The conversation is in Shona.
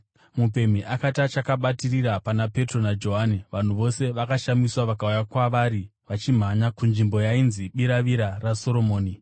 Mupemhi akati achakabatirira pana Petro naJohani, vanhu vose vakashamiswa vakauya kwavari vachimhanya kunzvimbo yainzi Biravira raSoromoni.